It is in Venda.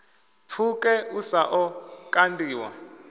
pfuke u sa ḓo kandiwa